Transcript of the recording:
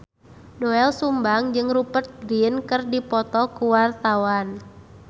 Doel Sumbang jeung Rupert Grin keur dipoto ku wartawan